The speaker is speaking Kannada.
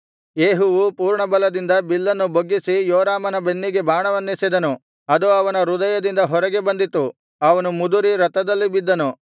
ಯೇಹುವು ಪೂರ್ಣಬಲದಿಂದ ಬಿಲ್ಲನ್ನು ಬೊಗ್ಗಿಸಿ ಯೋರಾಮನ ಬೆನ್ನಿಗೆ ಬಾಣವನ್ನೆಸೆದನು ಅದು ಅವನ ಹೃದಯದಿಂದ ಹೊರಗೆ ಬಂದಿತು ಅವನು ಮುದುರಿ ರಥದಲ್ಲಿ ಬಿದ್ದನು